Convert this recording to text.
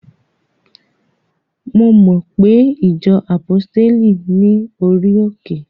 Mo mo pe ìjọ àpọ́stéli ní orí òkè?